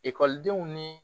Ekɔlidenw ni